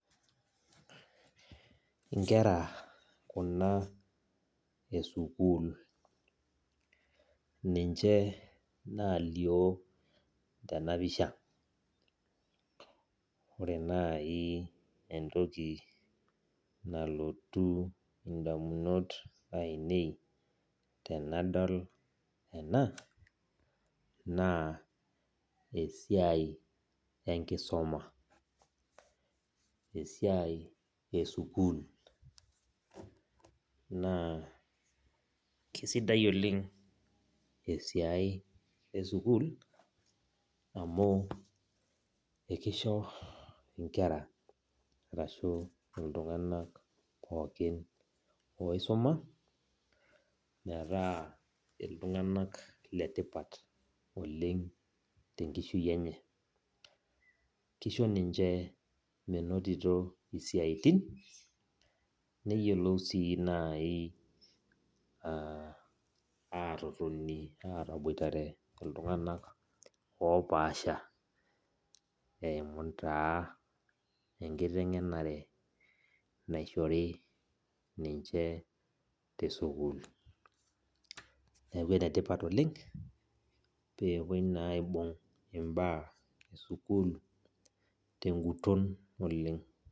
Inkera kuna esukuul. Ninche nalio tenapisha. Ore nai entoki nalotu indamunot ainei tenadol ena, naa esiai enkisuma. Esiai esukuul. Naa kisidai oleng esiai esukuul, amu ekisho inkera arashu iltung'anak pookin oisuma, metaa iltung'anak letipat oleng tenkishui enye. Kisho ninche menotito isiaitin, neyiolou si nai atotoni ataboitare iltung'anak opaasha eimu taa enkiteng'enare naishori ninche tesukuul. Neeku enetipat oleng, pepoi naa aibung' imbaa esukuul teguton oleng.